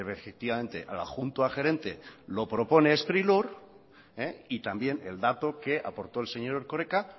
efectivamente al adjunto gerente lo propone sprilur y también el dato que aportó el señor erkoreka